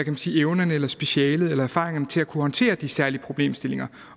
man sige evnen eller specialet eller erfaringerne til at kunne håndtere de særlige problemstillinger